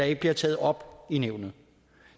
ikke bliver taget op i nævnet